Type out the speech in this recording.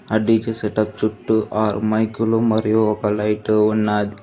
DJ setup చుట్టూ ఆర్ మైకులు మరియు ఒక లైటు ఉన్నది.